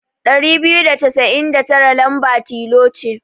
Ɗari biyu da casain da tara lamba tilo ce.